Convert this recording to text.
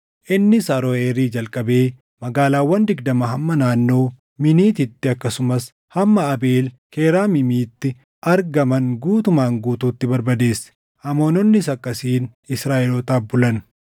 Innis Aroʼeerii jalqabee magaalaawwan digdama hamma naannoo Miiniititti akkasumas hamma Abeel Keraamiimitti argaman guutumaan guutuutti barbadeesse. Amoononnis akkasiin Israaʼelootaaf bulan.